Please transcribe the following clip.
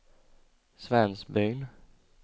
Svensbyn